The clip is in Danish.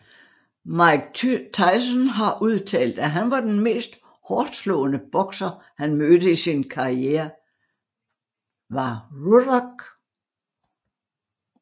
Mike Tyson har udtalt at han var den mest hårdtslående bokser han mødte i sin karriere var Ruddock